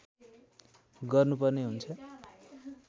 गर्नुपर्ने हुन्छ